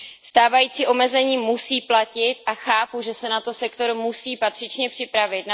Stávající omezení musí platit a chápu, že se na to sektor musí patřičně připravit.